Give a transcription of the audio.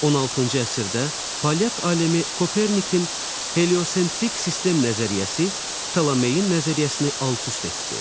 16-cı əsrdə polyak alimi Kopernikin heliocentrik sistem nəzəriyyəsi Ptolemeyin nəzəriyyəsini alt-üst etdi.